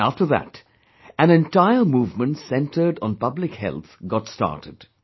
And after that, an entire movement centred on public health got started